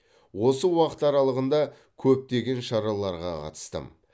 осы уақыт аралығында көптеген шараларға қатыстым